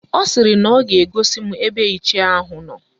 Ọ sịrị na ọ ga-egosi m ebe Ichie ahụ nọ